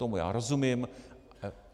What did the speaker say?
Tomu já rozumím.